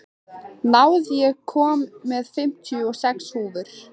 Náð, ég kom með fimmtíu og sex húfur!